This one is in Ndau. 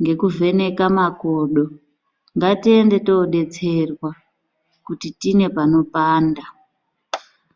ngekuvheneka makodo ngatiende tinodetserwa kuti tine panopanda.